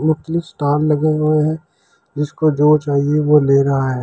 Totally stall लगे हुए हैं। जिसको जो चाहिए वो ले रहा है।